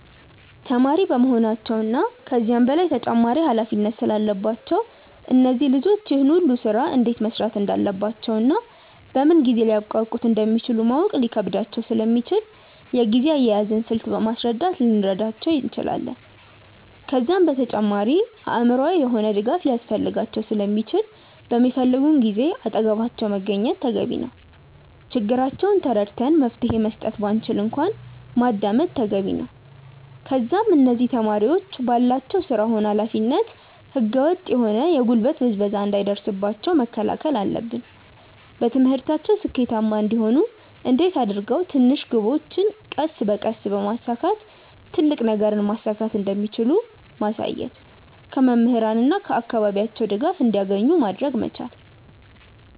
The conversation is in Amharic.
ተማሪ በመሆናቸው እና ከዛም በላይ ተጨማሪ ኃላፊነት ስላለባቸው እነዚህ ልጆች ይህን ሁሉ ስራ እንዴት መስራት እንዳለባቸውና በምን ጊዜ ሊያብቃቁት እንደሚችሉ ማወቅ ሊከብዳቸው ስለሚችል የጊዜ አያያዝን ስልት በማስረዳት ልንረዳቸው እንችላለን። ከዛም በተጨማሪ አእምሮአዊ የሆነ ድጋፍ ሊያስፈልጋቸው ስለሚችል በሚፈልጉን ጊዜ አጠገባቸው መገኘት ተገቢ ነው። ችግራቸውን ተረድተን መፍትሄ መስጠት ባንችል እንኳን ማዳመጥ ተገቢ ነው። ከዛም እነዚህ ተማሪዎች ባላቸው ስራ ሆነ ኃላፊነት ህገ ወጥ የሆነ የጉልበት ብዝበዛ እንዳይደርስባቸው መከላከል አለብን። በትምህርታቸው ስኬታማ እንዲሆኑ እንዴት አድርገው ትንሽ ግቦችን ቀስ በቀስ በማሳካት ትልቅ ነገርን ማሳካት እንደሚችሉ ማሳየት። ከመምህራን እና ከአካባቢያቸው ድጋፍ እንዲያገኙ ማድረግ መቻል።